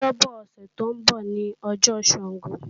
Ọjọ́bo̩ ọ̀sẹ̀ tó ń bọ̀ ní ọjọ́ Sàngó